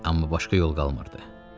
Amma başqa yol qalmırdı.